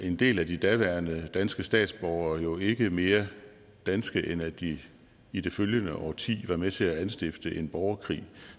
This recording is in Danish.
en del af de daværende danske statsborgere jo ikke mere danske end at de i det følgende årti var med til at anstifte en borgerkrig